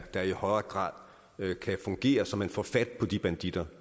der i højere grad kan fungere så man får fat på de banditter